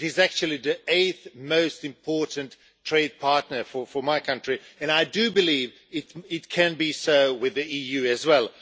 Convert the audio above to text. It is actually the eighth most important trade partner for my country, and I believe it can be so with the EU as well.